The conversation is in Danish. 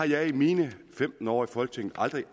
jeg i mine femten år i folketinget aldrig